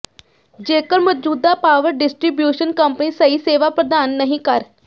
ਜੇਕਰ ਮੌਜੂਦਾ power distribution company ਸਹੀ ਸੇਵਾ ਪ੍ਰਦਾਨ ਨਹੀਂ ਕਰ